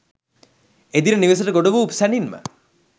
එදින නිවෙසට ගොඩ වූ සැණින්ම